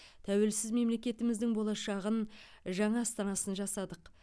тәуелсіз мемлекетіміздің болашағын жаңа астанасын жасадық